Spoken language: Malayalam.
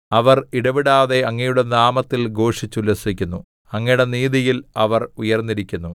അവർ ഇടവിടാതെ അങ്ങയുടെ നാമത്തിൽ ഘോഷിച്ചുല്ലസിക്കുന്നു അങ്ങയുടെ നീതിയിൽ അവർ ഉയർന്നിരിക്കുന്നു